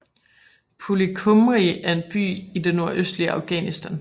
Puli Kumri er en by i det nordøstlige Afghanistan